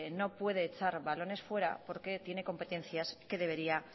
no puede echar balones fuera porque tiene competencias que debería